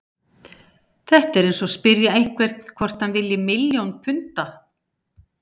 Þetta er eins og að spyrja einhvern hvort hann vilji milljón punda.